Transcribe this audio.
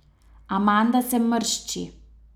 Amanda se mršči.